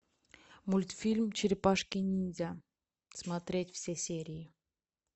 мультфильм черепашки ниндзя смотреть все серии